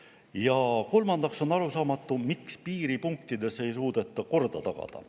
Ja kolmandaks on arusaamatu, miks piiripunktides ei suudeta korda tagada.